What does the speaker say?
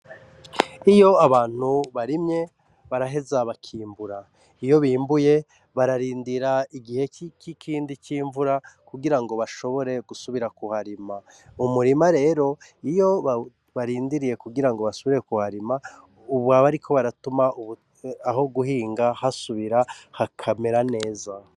Iyo Abantu barimye baraheza bakimbura iyo bimbuye bararindira igihe kindi cimvura kugirango bashobore gusubira kuharima uwo murima rero iyo barindiriye kugirango bahasubira kuharima baba bariko baratuma aho guhinga hariko harasubira kumera neza.